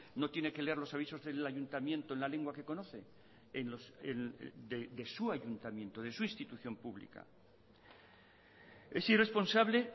no tiene que leer los avisos en el ayuntamiento en la lengua que conoce de su ayuntamiento de su institución pública es irresponsable